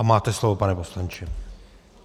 A máte slovo, pane poslanče.